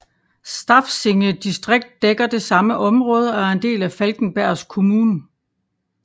Stafsinge distrikt dækker det samme område og er en del af Falkenbergs kommun